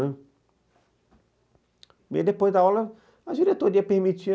Ãh, e depois da aula, a diretoria permitia.